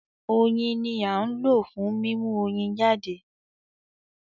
Oyin ni à ń lò fún mímú Oyin jáde